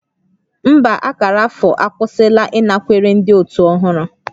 Mba, akara afọ akwụsịla ịnakwere ndị otu ọhụrụ